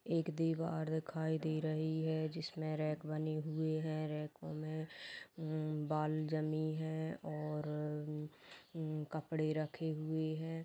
एक दिवार दिखाई दे रही है जिसमें रैक बनी हुई है रैको में उम्म बॉल जमी है और उम्म कपड़े रखे हुए हैं।